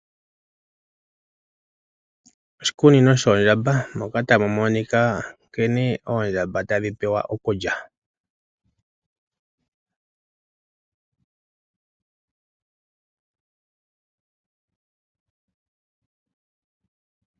Oshikunino shoondjamba moka tamu monika nkene oondjamba tadhi pewa okulya.